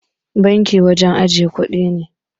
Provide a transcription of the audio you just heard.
Banki wajan ajiyar kudi ne.